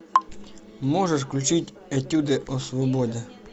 можешь включить этюды о свободе